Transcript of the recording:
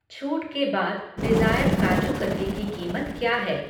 छूट के बाद डिज़ायर काजू कतली की कीमत क्या है?